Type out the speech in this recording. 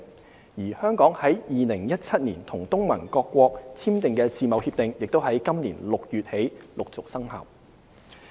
至於香港於2017年與東盟各國簽訂的自貿協定，亦已於今年6月起陸續生效。